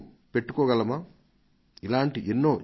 దయచేసి ఈ యువజన సంస్థలకు పక్కాగా ఉండే ఉపాయాలను సూచించండి